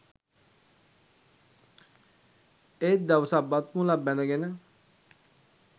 ඒත් දවසක් බත්මුලක් බැදගෙන